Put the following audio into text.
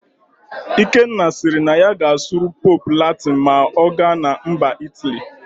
Ikenna siri na ya ga-asụrụ Pope Latịn ma ọ gana MbaIt aly